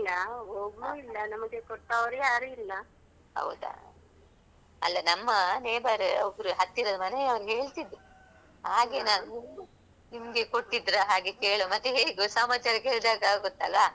ಹೌದಾ ಅಲ್ಲಾ ನಮ್ಮ neighbour ಒಬ್ಬರು ಹತ್ತಿರದ ಮನೆಯವ್ರ್ ಹೇಳ್ತಿದ್ರು ಹಾಗೆ ನಾನ್ ನಿಮ್ಗೆ ಕೊಟ್ಟಿದ್ದ್ರಾ ಹಾಗೆ ಕೇಳುವಾ ಮತ್ತೇ ಹೇಗೂ ಸಮಾಚಾರ ಕೇಳ್ಧಾಗ್ ಆಗುತ್ತಲ್ಲ ಸೌಖ್ಯವಾ ಹೇಗೆ ಅಂತ.